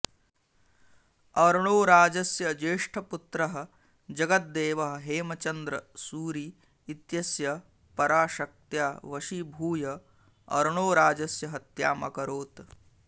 अर्णोराजस्य ज्येष्ठपुत्रः जगद्देवः हेमचन्द्र सूरि इत्यस्य पराशक्त्या वशीभूय अर्णोराजस्य हत्याम् अकरोत्